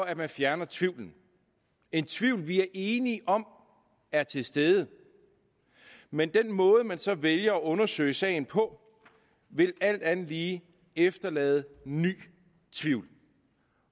at man fjerner tvivlen en tvivl vi enige om er til stede men den måde man så vælger at undersøge sagen på vil alt andet lige efterlade ny tvivl